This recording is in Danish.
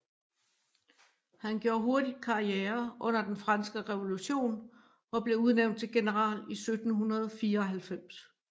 Han gjorde hurtigt karriere under Den Franske Revolution og blev udnævnt til general i 1794